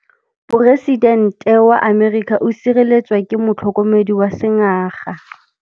Poresitêntê wa Amerika o sireletswa ke motlhokomedi wa sengaga.